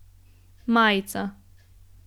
Majica.